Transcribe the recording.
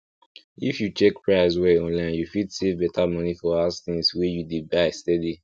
if you check price well online you fit save better money for house things wey you dey buy steady